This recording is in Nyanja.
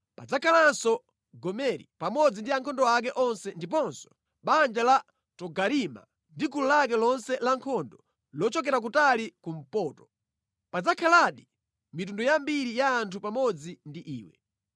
Padzakhalanso Gomeri pamodzi ndi ankhondo ake onse ndiponso banja la Togarima ndi gulu lake lonse lankhondo lochokera kutali kumpoto. Padzakhaladi mitundu yambiri ya anthu pamodzi ndi iwe.